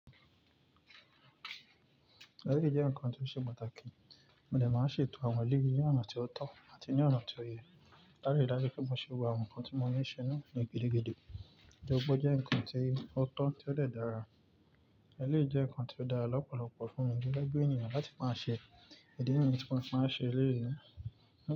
Eléyìí jẹ́ nǹkan tó ṣe pàtàkì, mo lè máa ṣètò àwọn eléyìí ní ọ̀nà tó tọ́ àti ní ọ̀nà tí ó yẹ. Dárí dárí kí n lè ṣe àwọn nǹkan tí mo ní í ṣe náà ní gidi gbígbó. Ẹ̀dọ̀bọ̀ jẹ́ nǹkan tí ó tọ́ tí ó dàra. Eléyìí jẹ́ nǹkan tí ó dára lọ́pọ̀lọpọ̀ fún mi gẹ́gẹ́ bí ènìyàn láti máa ṣe ìdí nǹkan tí mo máa ṣe lé yi náà.